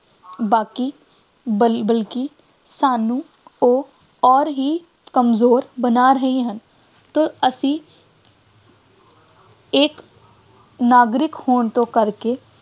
ਬਾਕੀ ਬਲ ਬਲਕਿ ਸਾਨੂੰ ਉਹ ਅੋਰ ਹੀ ਕਮਜ਼ੋਰ ਬਣਾ ਰਹੇ ਹਨ ਤੋ ਅਸੀਂ ਇੱਕ ਨਾਗਰਿਕ ਹੋਣ ਤੋਂ ਕਰਕੇ